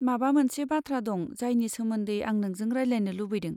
माबा मोनसे बाथ्रा दं जायनि सोमोन्दै आं नोंजों रायज्लायनो लुबैदों।